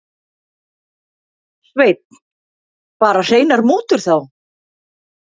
Sveinn: Bara hreinar mútur þá?